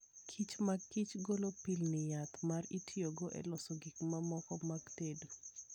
Kich mag Kich golo pilni yath ma itiyogo e loso gik mamoko mag tedo.